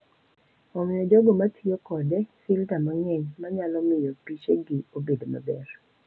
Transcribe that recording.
Omiyo jogo ma tiyo kode filta mang’eny ma nyalo miyo pichegi obed maber.